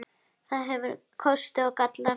Það hefur kosti og galla.